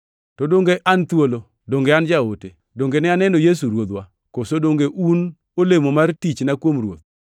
To donge an thuolo? Donge an jaote? Donge ne aneno Yesu Ruodhwa? Koso donge un olemo mar tichna kuom Ruoth?